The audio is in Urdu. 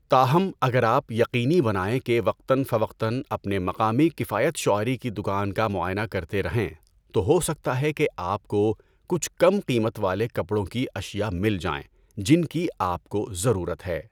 تاہم، اگر آپ یقینی بنائیں کہ وقتاً فوقتاً اپنے مقامی کفایت شعاری کی دکان کا معائنہ کرتے رہیں تو ہو سکتا ہے کہ آپ کو کچھ کم قیمت والے کپڑوں کی اشیاء مل جائیں جن کی آپ کو ضرورت ہے۔